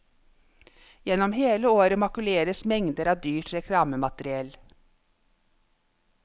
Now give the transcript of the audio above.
Gjennom hele året makuleres mengder av dyrt reklamemateriell.